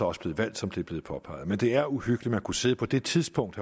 også blevet valgt som det er blevet påpeget men det er uhyggeligt at kunne sidde på det tidspunkt